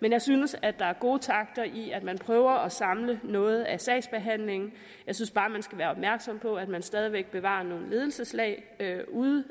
men jeg synes at der er gode takter i at man prøver at samle noget af sagsbehandlingen jeg synes bare at man skal være opmærksom på at man stadig væk bevarer nogle ledelseslag ude